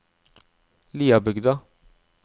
Liabygda